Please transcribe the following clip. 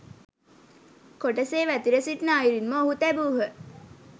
කොටසේ වැතිර සිටින අයුරින්ම ඔහු තැබූහ.